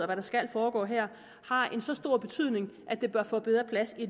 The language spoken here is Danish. der skal foregå her har så stor en betydning at det bør få bedre plads i